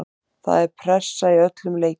Það er pressa í öllum leikjum.